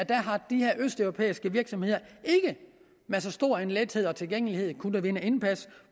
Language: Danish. de her østeuropæiske virksomheder ikke med så stor en lethed og tilgængelighed har kunnet vinde indpas